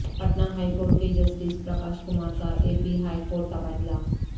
Patna high court کے justice Prakash Kumar کا A P high court تبادلہ